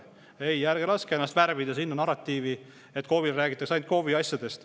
Ei, ärge laske värvida sellist narratiivi, et KOV-i räägitakse ainult KOV-i asjadest.